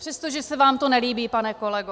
Přestože se vám to nelíbí, pane kolego.